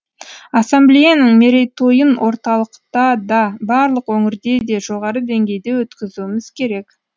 ассамблеяның мерейтойын орталықта да барлық өңірде де жоғары деңгейде өткізуіміз керек